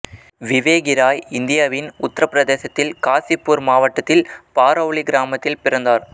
விவேகி ராய் இந்தியாவின் உத்தரபிரதேசத்தில் காசிப்பூர் மாவட்டத்தின் பாரௌலி கிராமத்தில் பிறந்தார்